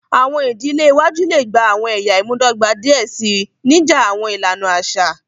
Awọn idile iwaju le gba awọn ẹya imudọgba diẹ sii, nija awọn ilana aṣa.